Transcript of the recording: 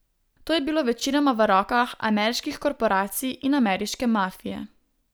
To je bilo večinoma v rokah ameriških korporacij in ameriške mafije.